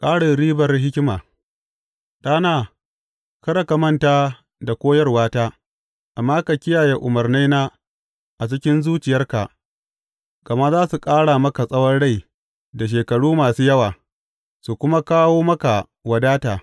Ƙarin ribar hikima Ɗana, kada ka manta da koyarwata, amma ka kiyaye umarnaina a cikin zuciyarka, gama za su ƙara maka tsawon rai da shekaru masu yawa su kuma kawo maka wadata.